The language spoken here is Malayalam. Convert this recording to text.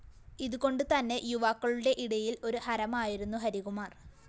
ഇത്‌കൊണ്ട് തന്നെ യുവാക്കളുടെ ഇടയില്‍ ഒരു ഹരമായിരുന്നു ഹരികുമാര്‍